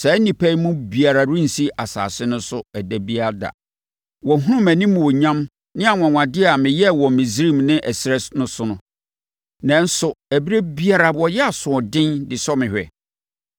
saa nnipa yi mu biara rensi asase no so ɛda biara da. Wɔahunu mʼanimuonyam ne anwanwadeɛ a meyɛɛ wɔ Misraim ne ɛserɛ so no, nanso ɛberɛ biara wɔyɛ asoɔden de sɔ me hwɛ.